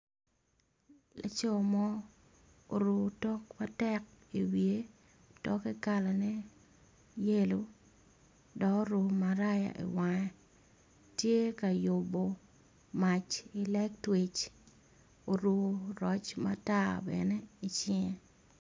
Laco mo oruko otok matek i wiye kalane yelo dok oruko maraya i wange tye ka yubo mwac i lectwic oruko roc matar bene i cinge